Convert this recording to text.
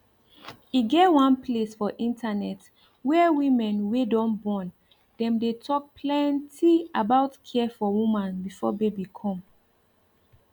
e get one place for internet where women wey don born dem dey talk plenty about care for woman before baby come